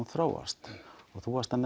þróast þú varst að